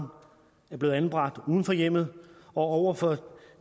er blevet anbragt uden for hjemmet og over for